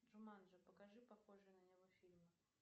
джуманджи покажи похожие на него фильмы